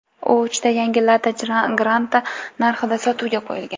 U uchta yangi Lada Granta narxida sotuvga qo‘yilgan.